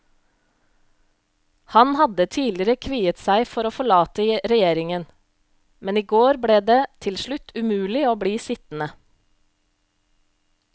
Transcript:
Han hadde tidligere kviet seg for å forlate regjeringen, men i går ble det til slutt umulig å bli sittende.